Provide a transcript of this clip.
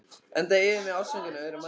Enda yfir mig ástfangin af öðrum manni.